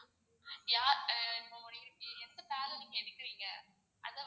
யார் இப்போ எந்த பேர்ல நீங்க எடுக்குறீங்க?